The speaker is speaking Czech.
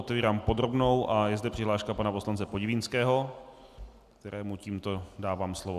Otevírám podrobnou a je zde přihláška pana poslance Podivínského, kterému tímto dávám slovo.